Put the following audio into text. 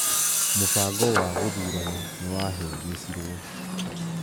Mũbango wa gũthurana nĩwa hĩngĩcirwo.